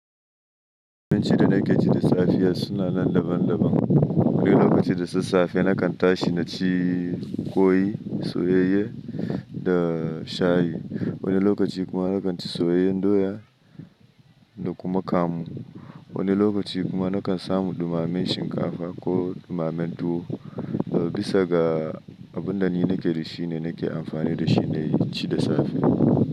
Abincin da na ke ci da safe suna nan daban-daban. Wani lokaci da sassafe na kan tashi na ci ƙwai, soyayye da shayi. Wani lokaci kuma na kan ci soyayyen doya da kuma kamu. Wani lokaci kuma na kan samu ɗumamen shinkafa ko ɗumamen tuwo. Bisa ga abin da ni na ke da shi ne na ke amfani da shi ne in ci da safe.